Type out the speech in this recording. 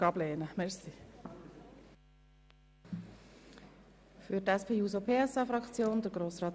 Inhaltlich hat sich Artikel 41 bis jetzt sehr bewährt.